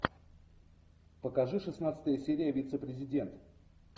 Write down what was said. покажи шестнадцатая серия вице президент